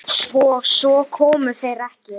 Svo komu þeir ekki.